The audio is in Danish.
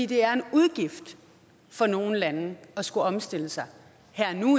det er en udgift for nogle lande at skulle omstille sig